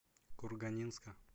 курганинска